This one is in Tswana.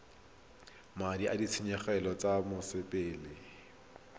madi a ditshenyegelo tsa mosepele